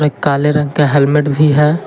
एक काले रंग का हेलमेट भी है।